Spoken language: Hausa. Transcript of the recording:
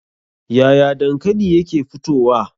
Yaya dankali yake fitowa?